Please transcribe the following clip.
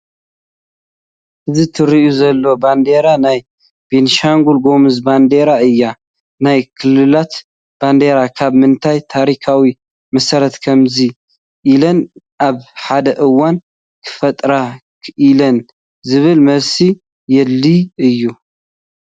እዛ ትርአ ዘላ ባንዲራ ናይ ቤንሻንጉል ጉምዝ ባንዲራ እያ፡፡ ናይ ክልላት ባንዲራ ካብ ምንታይ ታሪካዊ መሰረት ከምዚ ኢለን ኣብ ሓደ እዋን ክፍጠራ ክኢለን ዝብል መልሲ የድልዮ እዩ፡፡